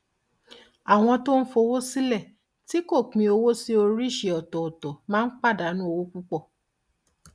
àwọn tó ń fowó sílẹ tí kò pín owó sí oríṣi ọtọọtọ máa ń pàdánù owó púpọ